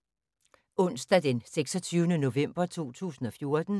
Onsdag d. 26. november 2014